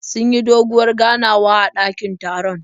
Sun yi doguwar ganawa a dakin taron.